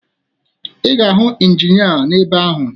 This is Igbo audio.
Ị ga-ahụ Injinịa n'ebe ahụ